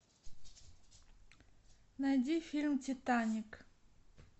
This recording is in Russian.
найди фильм титаник